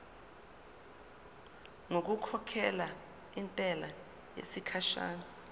ngokukhokhela intela yesikhashana